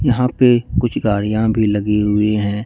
यहां पे कुछ गाड़ियां भी लगी हुई हैं।